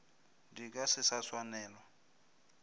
di ka se sa swanelwa